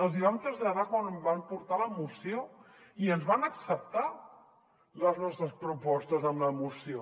els hi vam traslladar quan van portar la moció i ens van acceptar les nostres propostes a la moció